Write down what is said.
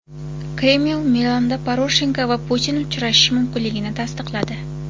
Kreml Milanda Poroshenko va Putin uchrashishi mumkinligini tasdiqladi.